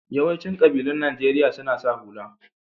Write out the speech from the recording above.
Yawancin ƙabilun Najeriya suna sa hula.